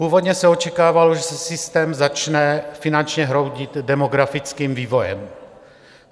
Původně se očekávalo, že se systém začne finančně hroutit demografickým vývojem.